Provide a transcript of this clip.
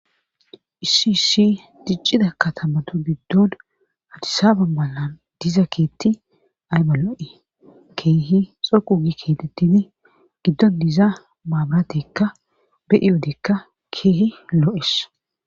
isisi diccida katamato giddon hadisaaba malan diza keetti aybalo7e keehi xoqu gi keetettini giddon diza maabatekka beyi odekka keehi loo7es